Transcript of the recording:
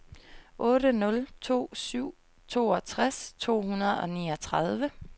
otte nul to syv toogtres to hundrede og niogtredive